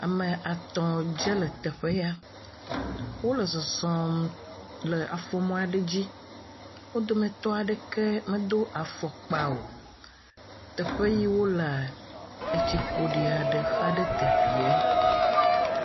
Ame atɔ̃ dze le teƒe ya. Wole zɔzɔm le afɔmɔ aɖe dzi. wo dometɔ aɖeke medo afɔkpa o. teƒe yi wolea, etsiƒoɖi aɖe xa ɖe teƒeɛ.